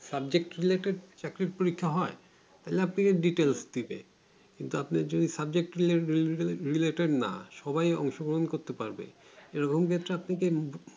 subject কি চাকরির পরীক্ষা হয় তাহলে আপনাকে subject দেবে কিন্তু আপনি যদি subject দিতে relative না সময় জংশন গ্রহনব করতে পারবে room যে একটা প্রীতি